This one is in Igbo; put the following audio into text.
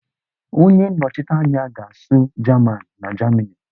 Onye nnọchite anya ga-asụ jaman na Jamini